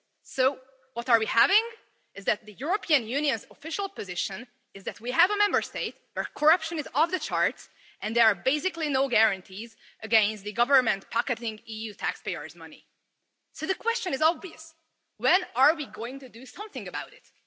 So what we have is that the European Union's official position is that we have a Member State where corruption is off the charts, and there are basically no guarantees against the government pocketing EU taxpayers' money. So the question is obvious when are we going to do something about it?